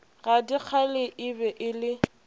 gadikgale e be e le